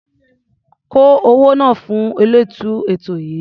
Kó owó náà fún olóòtú ètò yìí.